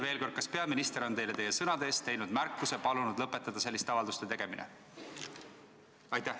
Veel kord: kas peaminister on teile teie sõnade eest märkuse teinud ja palunud lõpetada selliste avalduste tegemine?